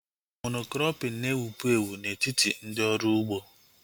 Mono-krọpin na-ewubu ewu na-etiti ndị ọrụ ugbo